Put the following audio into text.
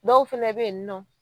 Dɔw fɛnɛ be yen nɔ